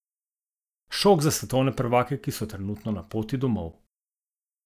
Šok za svetovne prvake, ki so trenutno na poti domov!